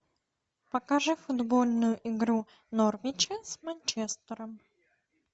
покажи футбольную игру норвича с манчестером